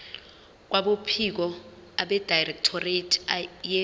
kwabophiko abedirectorate ye